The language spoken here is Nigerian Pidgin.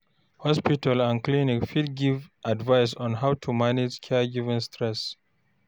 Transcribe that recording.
Hospital and clinic fit give advice on how to manage caregiving stress.